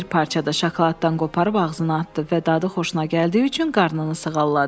Bir parça da şokoladdan qoparıb ağzına atdı və dadı xoşuna gəldiyi üçün qarnını sığalladı.